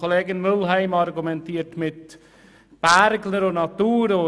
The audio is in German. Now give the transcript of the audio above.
Kollegin Mühlheim argumentiert mit Bergler und Natur.